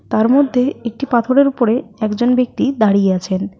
তার মধ্যে একটি পাথরের উপরে একজন ব্যক্তি দাঁড়িয়ে আছেন।